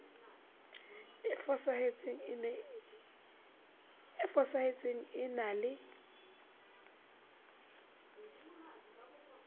e fosahetseng e na le